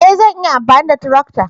E! Zan iya amfani da tarakta.